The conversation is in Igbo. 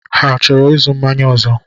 Ha chọrọ ịzụ mmanya ọzọ?